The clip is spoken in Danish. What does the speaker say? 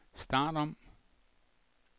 start om